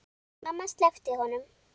Mamma sleppti honum.